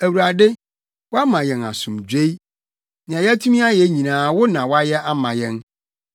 Awurade, woama yɛn asomdwoe; nea yɛatumi ayɛ nyinaa wo na woayɛ ama yɛn.